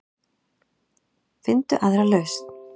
Finndu aðra lausn.